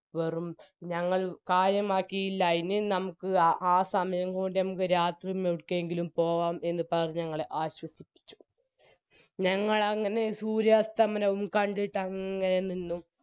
വെറും ഞങ്ങൾ കാര്യമാക്കിയില്ല ഇനിയും നമുക്ക് ആ സമയം കൊണ്ട് ഞമ്മക് രാത്രിയും എവിടേക്കെങ്കിലും പോകാം എന്ന് പറഞ്ഞ് ഞങ്ങളെ ആശ്വസിപ്പിച്ചു ഞങ്ങളങ്ങനെ സൂര്യാസ്തമനവും കണ്ടിട്ടങ്ങനെ നിന്നു